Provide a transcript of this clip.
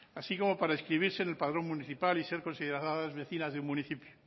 así como para inscribirse en el padrón municipal y ser consideradas vecinas de un municipio